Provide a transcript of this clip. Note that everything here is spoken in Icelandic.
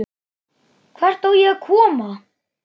Hvert á ég að koma?